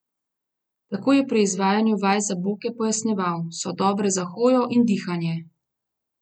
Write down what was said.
Tako je pri izvajanju vaj za boke pojasnjeval: "So dobre za hojo in dihanje.